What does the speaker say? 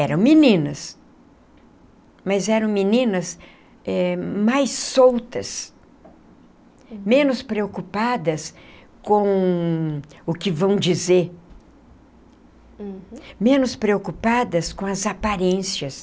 Eram meninas, mas eram meninas eh mais soltas, menos preocupadas com o que vão dizer, menos preocupadas com as aparências.